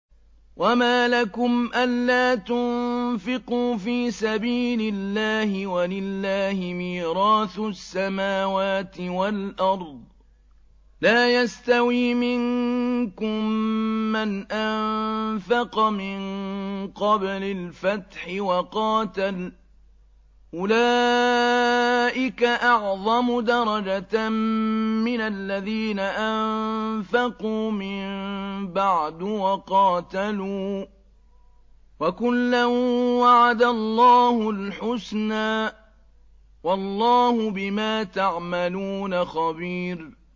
وَمَا لَكُمْ أَلَّا تُنفِقُوا فِي سَبِيلِ اللَّهِ وَلِلَّهِ مِيرَاثُ السَّمَاوَاتِ وَالْأَرْضِ ۚ لَا يَسْتَوِي مِنكُم مَّنْ أَنفَقَ مِن قَبْلِ الْفَتْحِ وَقَاتَلَ ۚ أُولَٰئِكَ أَعْظَمُ دَرَجَةً مِّنَ الَّذِينَ أَنفَقُوا مِن بَعْدُ وَقَاتَلُوا ۚ وَكُلًّا وَعَدَ اللَّهُ الْحُسْنَىٰ ۚ وَاللَّهُ بِمَا تَعْمَلُونَ خَبِيرٌ